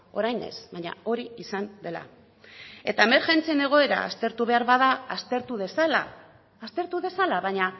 orain ez baina hori izan dela eta emergentzien egoera aztertu behar bada aztertu dezala aztertu dezala baina